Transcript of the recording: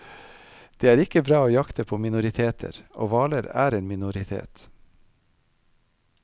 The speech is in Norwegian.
Det er ikke bra å jakte på minoriteter, og hvaler er en minoritet.